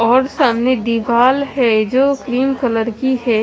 और सामने दीवाल है जो क्रीम कलर की है।